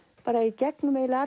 bara í gegnum eiginlega